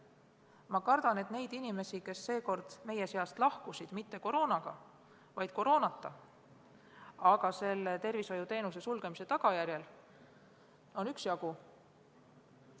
Ma kardan, et neid inimesi, kes seekord meie seast lahkusid mitte koroonaga, vaid koroonata, aga tervishoiuteenuse sulgemise tagajärjel, on üksjagu.